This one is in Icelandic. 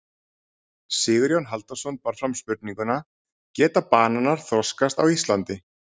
Sigurjón Halldórsson bar fram spurninguna: Geta bananar þroskast á Íslandi?